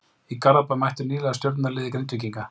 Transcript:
Í Garðabæ mættu nýliðar Stjörnunnar liði Grindvíkinga.